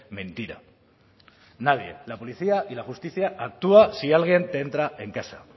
mentira nadie la policía y la justicia actúa si alguien te entra en casa